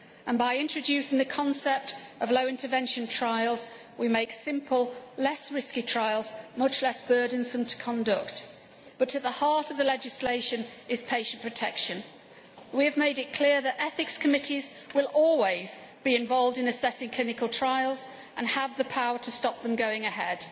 and by introducing the concept of low intervention trials we make simple, less risky trials much less burdensome to conduct. But at the heart of the legislation is patient protection. We have made it clear that ethics committees will always be involved in assessing clinical trials and have the power to stop them going ahead.